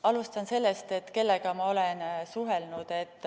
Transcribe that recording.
Alustan sellest, et kellega ma olen suhelnud.